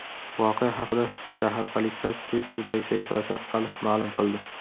Voqea haqida shahar politsiyasi Twitter’dagi sahifasi orqali ma’lum qildi.